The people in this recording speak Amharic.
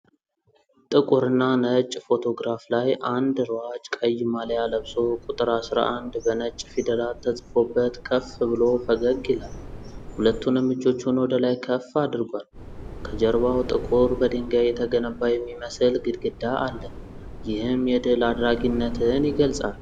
ጥቁርና ነጭ ፎቶግራፍ ላይ አንድ ሯጭ ቀይ ማሊያ ለብሶ፣ ቁጥር “11” በነጭ ፊደላት ተጽፎበት ከፍ ብሎ ፈገግ ይላል። ሁለቱንም እጆቹን ወደ ላይ ከፍ አድርጓል። ከጀርባው ጥቁር፣ በድንጋይ የተገነባ የሚመስል ግድግዳ አለ፣ ይህም የድል አድራጊነትን ይገልጻል።